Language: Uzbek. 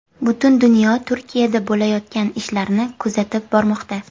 Butun dunyo Turkiyada bo‘layotgan ishlarni kuzatib bormoqda.